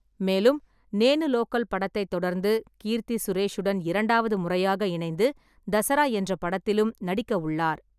மேலும், நேனு லோக்கல் படத்தைத் தொடர்ந்து கீர்த்தி சுரேஷுடன் இரண்டாவது முறையாக இணைந்து தசரா என்ற படத்திலும் நடிக்கவுள்ளார்.